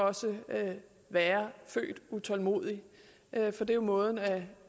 også være født utålmodig for det er jo måden at